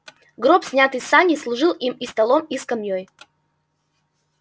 гроб снятый с саней служил им и столом и скамьёй